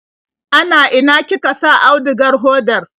Ana ina kika sa audugar hodar?